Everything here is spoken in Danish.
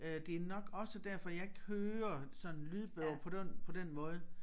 Øh det nok også derfor jeg ikke hører sådan lydbog på den på den måde